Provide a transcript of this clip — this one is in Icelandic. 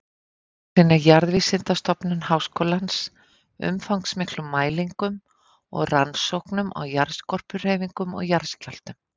Þá sinnir Jarðvísindastofnun Háskólans umfangsmiklum mælingum og rannsóknum á jarðskorpuhreyfingum og jarðskjálftum.